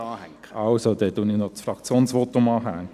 Also: Dann hänge ich noch das Fraktionsvotum an.